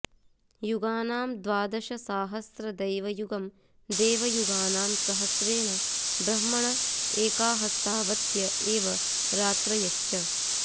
युगानां द्वादशसाहस्रदैवयुगम् देवयुगानां सहस्रेण ब्रह्मण एकाहस्तावत्य एव रात्रयश्च